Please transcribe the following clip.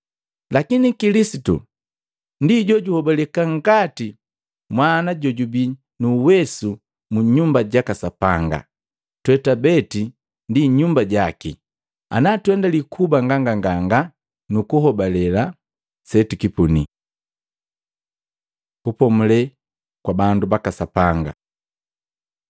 Lakini Kilisitu ndi jojuhobaleka ngati Mwana jojubi nu uwesu mu nyumba jaka Sapanga. Twe twabeti ndi nyumba jaki ana tuendali kuba nganganga na nukuhoabale setukipuni. Kupomule kwa bandu baka Sapanga